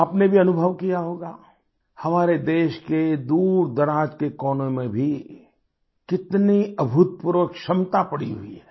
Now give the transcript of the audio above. आपने भी अनुभव किया होगा हमारे देश के दूरदराज के कोनों में भी कितनी अभूतपूर्व क्षमता पड़ी हुई है